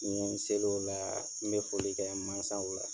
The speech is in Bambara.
Ni n ye seli o la, n bɛ foli ka mansaw la.